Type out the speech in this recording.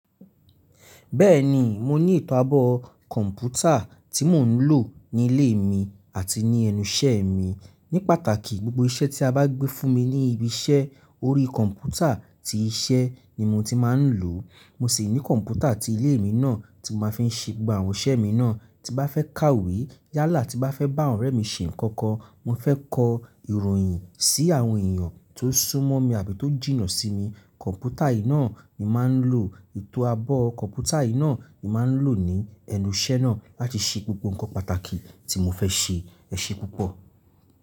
Bẹ́ẹ̀ni, mo ní etọ́ abọ́ kọ̀mpútà tí mò ń lò ní ilé mi àti ní ẹnu iṣẹ́ mi. Ní pàtàkì, gbogbo iṣẹ́ tí a bá gbé fún mi ní ibi iṣẹ́, orí kọ̀mpútà ti iṣẹ́ ni mo ti máa ń lò. Mo sì ní kọ̀mpútà ti ilé mi náà tí mo máa fi ń ṣe gbogbo àwọn iṣẹ́ mi náà. Tí bá fẹ́ kàwé yálà tí bá fẹ́ bá ọ̀rẹ́ mi se nkankan, mo fẹ́ kọ ìròyìn sí àwọn èèyàn tó sún mọ́ mi àbí tó jìnnà sí mi, kọ̀mpútà yìí náà ni mà ń lò. Ìtọ́ abọ́ kọ̀mpútà yìí náà ni mà ń lò ní ẹnu iṣẹ́ náà láti ṣe gbogbo nǹkan pàtàkì tí mo fẹ́ ṣe. Ẹ ṣe púpọ̀.